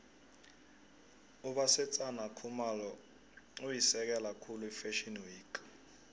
ubasetsana khumalo uyisekela khulu ifashio week